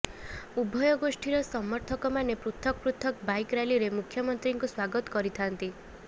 ଉଭୟ ଗୋଷ୍ଠୀର ସମର୍ଥକମାନେ ପୃଥକ ପୃଥକ ବାଇକ ରାଲିରେ ମୁଖ୍ୟମନ୍ତ୍ରୀଙ୍କୁ ସ୍ୱାଗତ କରିଥାନ୍ତି